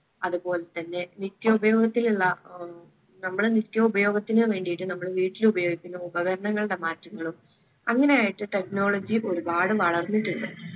അത് പൊൽത്തന്നെ നിത്യോപയോഗത്തിനുള്ള ഉം നമ്മളെ നിത്യ ഉപയോഗത്തിന് വേണ്ടിയിട്ട് നമ്മളെ വീട്ടിൽ ഉപയോഗിക്കുന്ന ഉപകരണങ്ങളുടെ മാറ്റങ്ങളും അങ്ങനെയായിട്ട് technology ഒരുപാട് വളർന്നിട്ടുണ്ട്